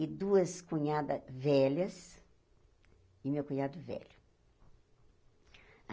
e duas cunhadas velhas e meu cunhado velho.